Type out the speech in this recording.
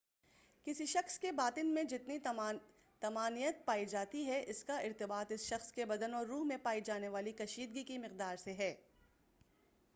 کسی شخص کے باطن میں جتنی طمانینت پائی جاتی ہے اس کا ارتباط اس شخص کے بدن اور روح میں پائی جانے والی کشیدگی کی مقدار سے ہے